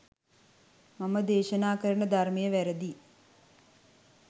මම දේශනා කරන ධර්මය වැරදි